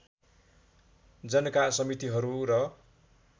जनका समितिहरू र